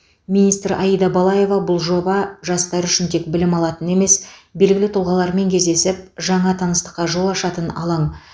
министр аида балаева бұл жоба жастар үшін тек білім алатын емес белгілі тұлғалармен кездесіп жаңа таныстыққа жол ашатын алаң